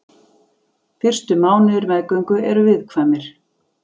Fyrstu mánuðir meðgöngu eru viðkvæmir.